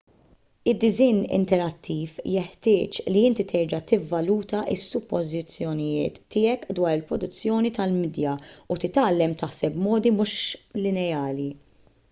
id-disinn interattiv jeħtieġ li inti terġa' tivvaluta s-suppożizzjonijiet tiegħek dwar il-produzzjoni tal-midja u titgħallem taħseb b'modi mhux lineari